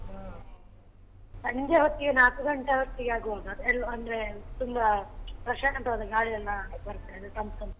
ಸಂಜೆ ಹೊತ್ತಿಗೆ ನಾಕು ಗಂಟೆ ಹೊತ್ತಿಗೆ ಆಗುವಾಗ ಎಲ್ಲ ಅಂದ್ರೆ ತುಂಬ ಪ್ರಶಾಂತವಾದ ಗಾಳಿ ಎಲ್ಲಾ ಬರ್ತದೆ ತಂಪು ತಂಪು.